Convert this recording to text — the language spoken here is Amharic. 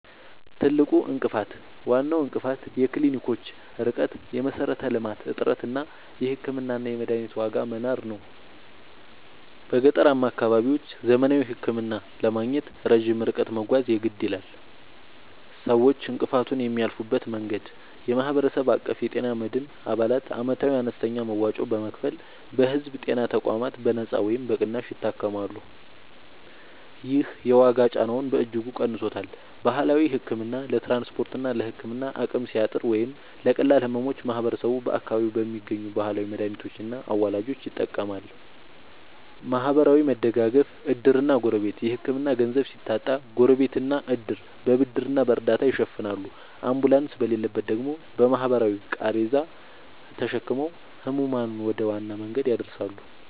ትልቁ እንቅፋት፦ ዋናው እንቅፋት የክሊኒኮች ርቀት (የመሠረተ-ልማት እጥረት) እና የሕክምናና የመድኃኒት ዋጋ መናር ነው። በገጠራማ አካባቢዎች ዘመናዊ ሕክምና ለማግኘት ረጅም ርቀት መጓዝ የግድ ይላል። ሰዎች እንቅፋቱን የሚያልፉበት መንገድ፦ የማህበረሰብ አቀፍ የጤና መድን፦ አባላት ዓመታዊ አነስተኛ መዋጮ በመክፈል በሕዝብ ጤና ተቋማት በነጻ ወይም በቅናሽ ይታከማሉ። ይህ የዋጋ ጫናውን በእጅጉ ቀንሶታል። ባህላዊ ሕክምና፦ ለትራንስፖርትና ለሕክምና አቅም ሲያጥር ወይም ለቀላል ሕመሞች ማህበረሰቡ በአካባቢው በሚገኙ ባህላዊ መድኃኒቶችና አዋላጆች ይጠቀማል። ማህበራዊ መደጋገፍ (ዕድርና ጎረቤት)፦ የሕክምና ገንዘብ ሲታጣ ጎረቤትና ዕድር በብድርና በእርዳታ ይሸፍናሉ፤ አምቡላንስ በሌለበት ደግሞ በባህላዊ ቃሬዛ ተሸክመው ሕሙማንን ወደ ዋና መንገድ ያደርሳሉ።